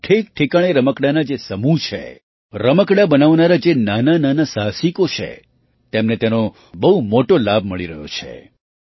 દેશમાં ઠેકઠેકાણે રમકડાંના જે સમૂહ છે રમકડાં બનાવનારા જે નાનાનાના સાહસિકો છે તેમને તેનો બહુ મોટો લાભ મળી રહ્યો છે